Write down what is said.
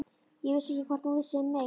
Ég vissi ekkert hvort hún vissi um mig.